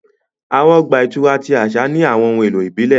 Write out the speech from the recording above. Awọn ọgba ìturá ti aṣa ni awọn ohun elo ibile.